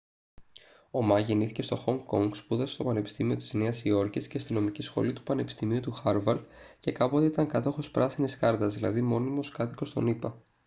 ο μα γεννήθηκε στο χονγκ κονγκ σπούδασε στο πανεπιστήμιο της νέας υόρκης και στη νομική σχολή του πανεπιστημίου του χάρβαρντ και κάποτε ήταν κάτοχος «πράσινης κάρτας» δηλαδή μόνιμος κάτοικος των ηπα